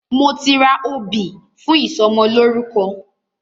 Mo ti ra obì fún ìsọmọlórúkọ.